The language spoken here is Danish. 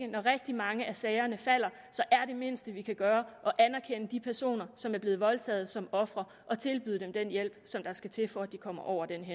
når rigtig mange af sagerne falder er det mindste vi kan gøre at anerkende de personer som er blevet voldtaget som ofre og tilbyde dem den hjælp der skal til for at de kommer over den